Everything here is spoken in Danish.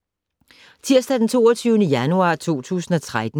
Tirsdag d. 22. januar 2013